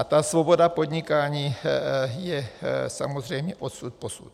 A ta svoboda podnikání je samozřejmě odsud posud.